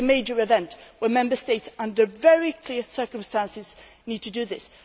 There could be a major event where Member States, under very clear circumstances, need to do